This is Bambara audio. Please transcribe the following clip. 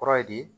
Kɔrɔ ye di